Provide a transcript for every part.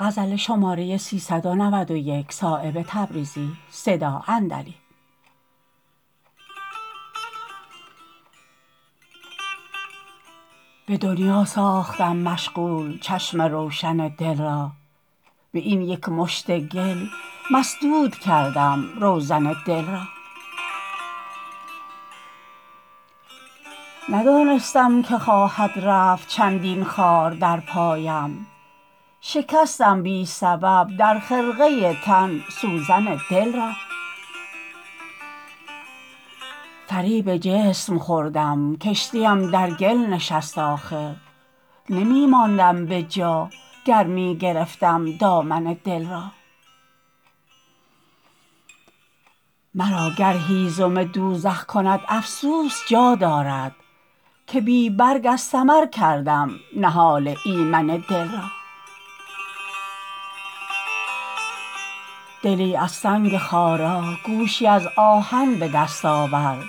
به دنیا ساختم مشغول چشم روشن دل را به این یک مشت گل مسدود کردم روزن دل را ندانستم که خواهد رفت چندین خار در پایم شکستم بی سبب در خرقه تن سوزن دل را فریب جسم خوردم کشتیم در گل نشست آخر نمی ماندم به جا گر می گرفتم دامن دل را مرا گر هیزم دوزخ کند افسوس جا دارد که بی برگ از ثمر کردم نهال ایمن دل را دلی از سنگ خارا گوشی از آهن به دست آور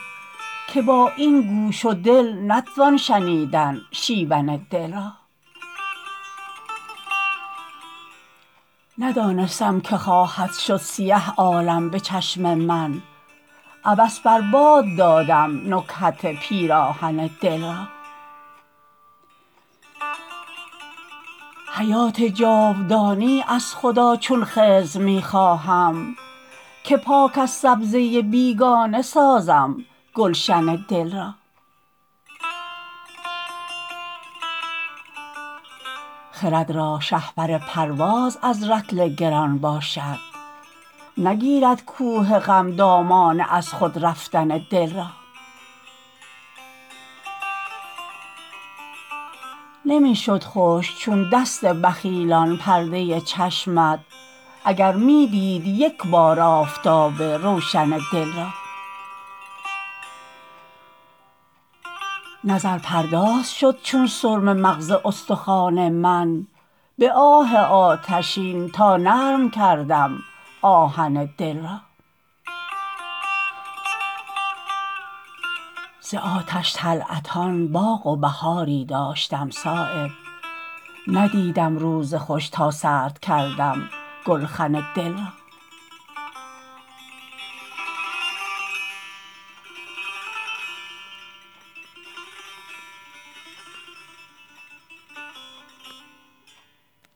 که با این گوش و دل نتوان شنیدن شیون دل را ندانستم که خواهد شد سیه عالم به چشم من عبث بر باد دادم نکهت پیراهن دل را حیات جاودانی از خدا چون خضر می خواهم که پاک از سبزه بیگانه سازم گلشن دل را خرد را شهپر پرواز از رطل گران باشد نگیرد کوه غم دامان از خود رفتن دل را نمی شد خشک چون دست بخیلان پرده چشمت اگر می دید یک بار آفتاب روشن دل را نظرپرداز شد چون سرمه مغز استخوان من به آه آتشین تا نرم کردم آهن دل را ز آتش طلعتان باغ و بهاری داشتم صایب ندیدم روز خوش تا سرد کردم گلخن دل را